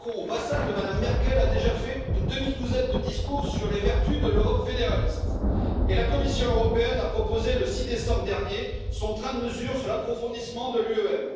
Macron, vassal de Mme Merkel, a déjà fait une demi douzaine de discours sur les vertus de l'Europe fédéraliste et la Commission européenne a proposé, le 6 décembre dernier, son train de mesures sur l'approfondissement de l'UEM.